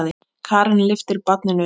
Karen lyftir barninu upp.